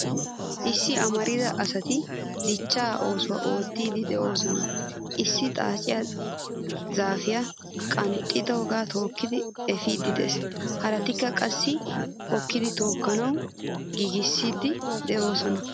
Issi amarida asati dichcha oosuwaa oottidi deosona. Issi xaacce zaafiyaa qanxxoga tookkidi efidi de'ees. Harattikka qassi hokkidi tookkanawu giigisidi deosona.